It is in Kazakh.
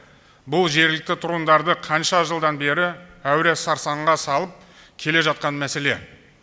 бұл жергілікті тұрғындарды қанша жылдан бері әуре сарсаңға салып келе жатқан мәселе